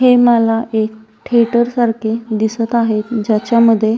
हे मला एक थिएटर सारखे दिसत आहे ज्याच्यामध्ये --